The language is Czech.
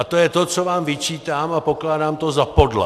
A to je to, co vám vyčítám, a pokládám to za podlé.